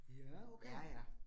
Ja okay